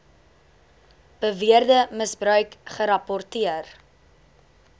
beweerde misbruik gerapporteer